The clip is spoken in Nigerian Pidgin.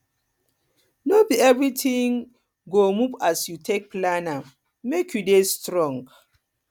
no be everytin no be everytin go move as you take plan am make you dey strong